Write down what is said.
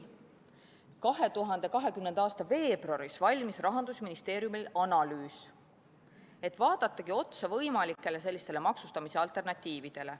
2020. aasta veebruaris valmis Rahandusministeeriumil analüüs, et vaadatagi otsa sellistele võimalikele maksustamise alternatiividele.